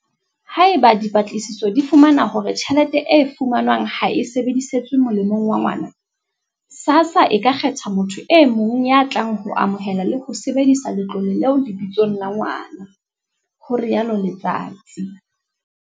Haeba dipatlisiso di fumana hore tjhelete e fumanwang ha e sebedisetswe molemong wa ngwana, SASSA e ka kgetha motho e mong ya tlang ho amohela le ho sebedisa letlole leo lebitsong la ngwana, ho rialo Letsatsi.